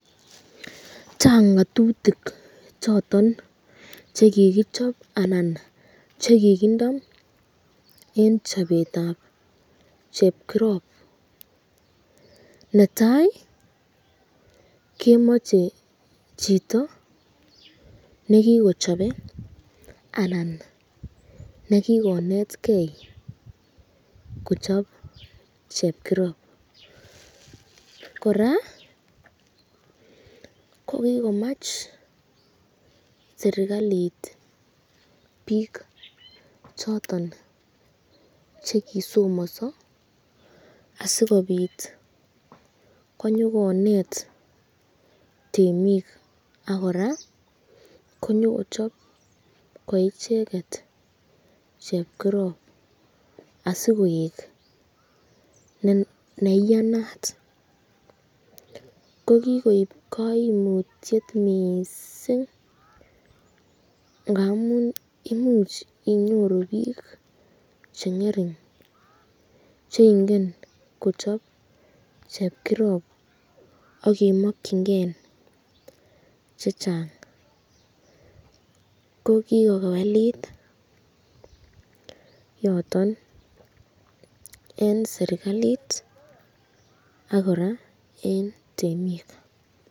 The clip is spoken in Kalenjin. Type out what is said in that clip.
Chang ngatutik choton chekikichob anan chekikindo eng chabetab chepkirop, netai kemache chito nekikochabe anan nekikonetke kochab chepkirob ,koraa kokikomache serikalit bik choton chekisomaso asikobit konyokonet kemik ak koraa ko nyokochab ko icheket chepkirop asikoek neiyanat, kokikop kaimutyet mising, ngamun imuch inyoru bir chengering cheingen kochab chepkirob akemakyinken chechang, ko kikokewelit yoton eng serikalit ak koraa eng temik.